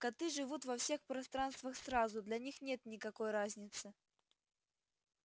коты живут во всех пространствах сразу для них нет никакой разницы